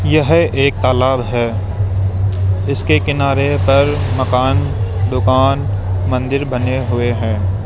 यह एक तालाब है जिसके किनारे पर मकान दुकान मंदिर बने हुए हैं।